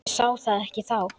Ég sá það ekki þá.